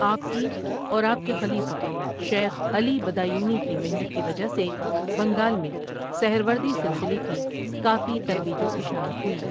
آپ کی اور آپ کے خلیفہ شیخ علی بدایونی کی محنت کی وجہ سے بنگال میں سہروردی سلسلے کی کافی ترویج و اِشاعت ہوئی ۔